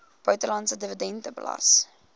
buitelandse dividend belas